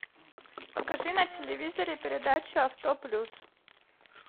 покажи на телевизоре передачу авто плюс